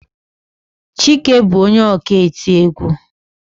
Chike bu onye ọka eti egwú.